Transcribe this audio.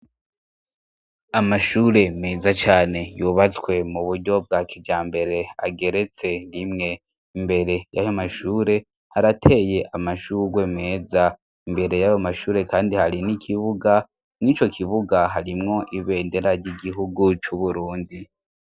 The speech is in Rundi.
Amashure meza cne yubatswe mu buryo bwa kijambere ageretse rimwe imbere y'aho mashure harateye amashurwe meza imbere yaba mashure kandi hari n'ikibuga mw'ico kibuga harimwo ibenderarg' igihugu c'Uburundi.